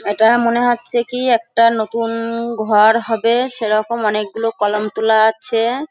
এটা মনে হচ্ছে কি একটা নতুন ঘর হবে সেরকম অনেকগুলো কলাম তোলা আছে-এ।